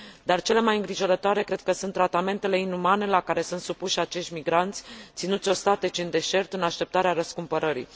Dar cele mai îngrijorătoare cred că sunt tratamentele inumane la care sunt supuși acești migranți, ținuți ostatici în deșert în așteptarea răscumpărării.